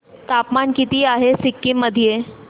तापमान किती आहे सिक्किम मध्ये